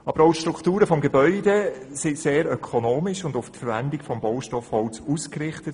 Aber auch die Strukturen des Gebäudes sind sehr ökonomisch und auf die Verwendung des Baustoffs Holz ausgerichtet.